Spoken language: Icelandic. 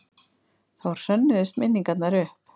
Þá hrönnuðust minningarnar upp.